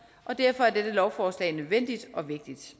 og derfor er dette lovforslag nødvendigt og vigtigt